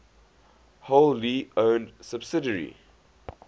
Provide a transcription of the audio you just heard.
wholly owned subsidiary